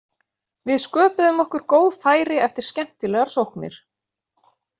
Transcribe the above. Við sköpuðum okkur góð færi eftir skemmtilegar sóknir.